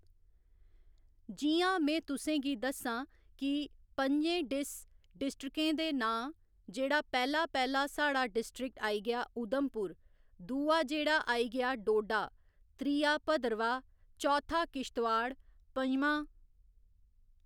जियां में तुसेंगी दस्सां की प'ञें डिस डिस्ट्रिक्टें दे नांऽ जेह्ड़ा पैह्ला पैह्‌ला साढ़ा डिस्ट्रिक्ट आई गेआ उधमपुर दूआ जेह्ड़ा आई गेआ डोडा त्रीया भद्रवाह चौथा किश्तवाड़ पञमां